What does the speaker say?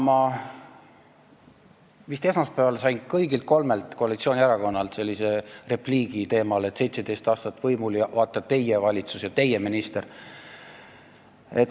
Ma vist esmaspäeval kuulsin kõigilt kolmelt koalitsioonierakonnalt repliiki teemal, et "17 aastat võimul ja vaata, teie valitsus ja teie minister".